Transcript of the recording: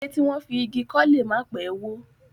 Ilé tí wọ́n fi igi kọ́ lè má pẹ́ wó.